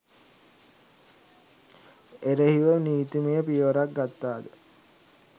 එරෙහිව නීතිමය පියවරක් ගත්තාද?